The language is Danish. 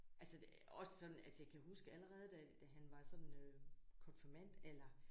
Altså det også sådan altså jeg kan huske allerede da da han var sådan øh konfirmandalder